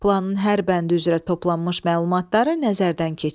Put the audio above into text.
Planın hər bəndi üzrə toplanmış məlumatları nəzərdən keçir.